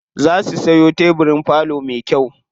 Za su siyo tebirin falo me kyau.